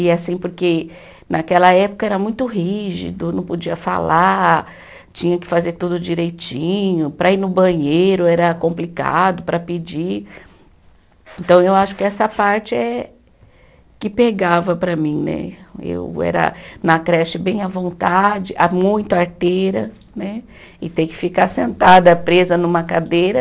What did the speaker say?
E assim, porque naquela época era muito rígido, não podia falar, tinha que fazer tudo direitinho, para ir no banheiro era complicado, para pedir, então eu acho que essa parte é que pegava para mim né, eu era na creche bem à vontade, ah muito arteira né, e ter que ficar sentada presa numa cadeira